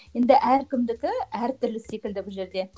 енді әркімдікі әр түрлі секілді бұл жерде